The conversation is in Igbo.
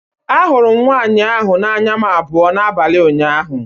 Ahụrụ m nwanyị ahụ na anya m abụọ n'abalị ụnyaahụ